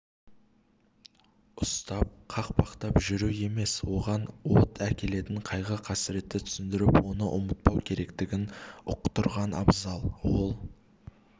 ұстап қақпалап жүру емес оған от әкелетін қайғы-қасіретті түсіндіріп оны ұмытпау керектігін ұқтырған абзал ол